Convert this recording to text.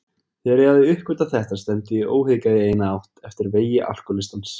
Þegar ég hafði uppgötvað þetta stefndi ég óhikað í eina átt, eftir vegi alkohólistans.